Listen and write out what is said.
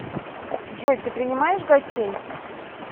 джой ты принимаешь гостей